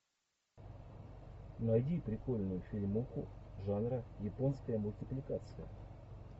найди прикольную фильмуху жанра японская мультипликация